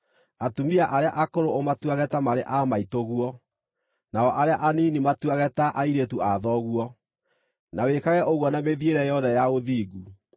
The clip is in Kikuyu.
Atumia arĩa akũrũ, ũmatuage ta marĩ aa maitũguo, nao arĩa anini matuage ta airĩtu a thoguo, na wĩkage ũguo na mĩthiĩre yothe ya ũthingu.